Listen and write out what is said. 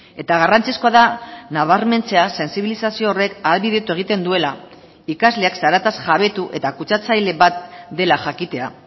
eta garrantzizkoa da nabarmentzea sentsibilizazio horrek ahalbidetu egiten duela ikasleak zarataz jabetu eta kutsatzaile bat dela jakitea